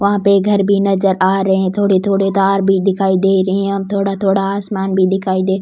वह पे घर भी नजर आ रहे है थोड़े थोड़े तार भी दिखाई दे रहे है थोड़ा थोड़ा आसमान भी दिखाई दे --